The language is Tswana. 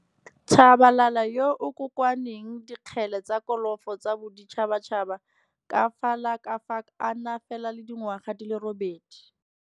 Tshabalala yoo o kokoanyang dikgele tsa kolofo tsa boditšhatšhaba ka fa la ka fa ka a na fela le dingwaga di le robedi.